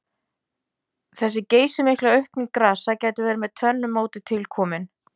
Þessi geysimikla aukning grasa gæti verið með tvennu móti tilkomin.